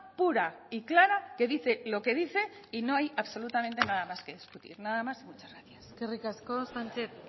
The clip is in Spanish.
pura y clara que dice lo que dice y no hay absolutamente nada más que discutir nada más y muchas gracias eskerrik asko sánchez